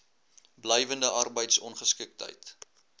blywende arbeids ongeskiktheid